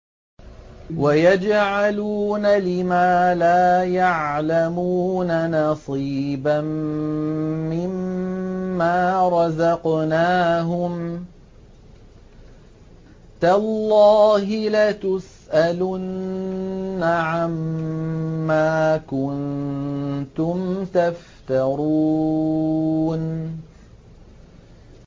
وَيَجْعَلُونَ لِمَا لَا يَعْلَمُونَ نَصِيبًا مِّمَّا رَزَقْنَاهُمْ ۗ تَاللَّهِ لَتُسْأَلُنَّ عَمَّا كُنتُمْ تَفْتَرُونَ